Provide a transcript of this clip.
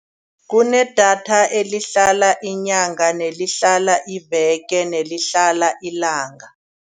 Kunedatha elihlala inyanga, nelihlala iveke, nelihlala ilanga.